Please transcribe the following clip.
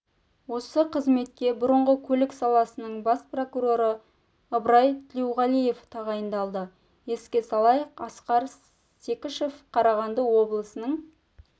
осы қызметке бұрынғы көлік саласының бас прокуроры ыбрай тілеуғалиев тағайындалды еске салайық асқар секішев қарағанды облысының